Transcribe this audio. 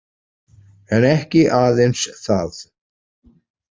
En ekki aðeins það.